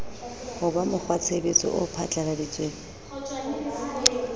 ho ba mokgwatshebetso o phatlalladitsweng